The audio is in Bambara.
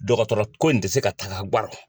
Dɔgɔtɔrɔ ko in tɛ se ka taga gan kan.